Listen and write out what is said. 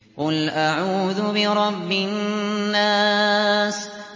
قُلْ أَعُوذُ بِرَبِّ النَّاسِ